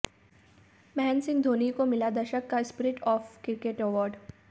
महेंद्र सिंह धोनी को मिला दशक का spirit of the cricket award